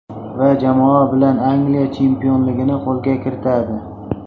Va jamoa bilan Angliya chempionligini qo‘lga kiritadi.